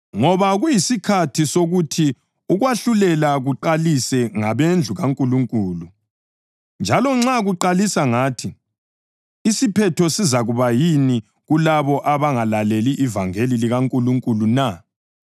Ngoba kuyisikhathi sokuthi ukwahlulela kuqalise ngabendlu kaNkulunkulu; njalo nxa kuqalisa ngathi, isiphetho sizakuba yini kulabo abangalaleli ivangeli likaNkulunkulu na?